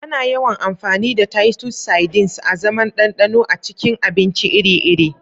Ana yawan amfani da Titus sardines azaman ɗanɗano a cikin abinci iri-iri.